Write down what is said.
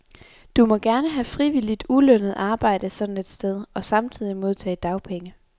Du må gerne have frivilligt ulønnet arbejde sådan et sted og samtidig modtage dagpenge.